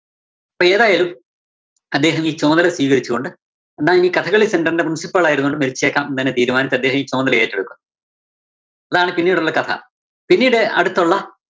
അപ്പോ ഏതായാലും അദ്ദേഹം ഈ ചുമതല സ്വീകരിച്ചുകൊണ്ട്, എന്നാ ഇനി കഥകളി center ന്റെ principle ആയിരുന്നുകൊണ്ട് മരിച്ചേക്കാം എന്ന് തീരുമാനിച്ച് അദ്ദേഹം ഈ ചുമതല ഏറ്റെടുത്തു. അതാണ് പിന്നീടുള്ള കഥ. പിന്നീട് അടുത്തൊള്ള